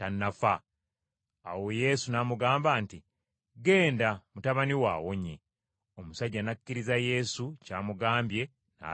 Awo Yesu n’amugamba nti, “Ggenda mutabani wo awonye!” Omusajja n’akkiriza Yesu ky’amugambye n’agenda.